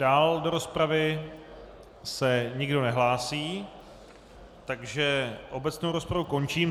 Dál do rozpravy se nikdo nehlásí, takže obecnou rozpravu končím.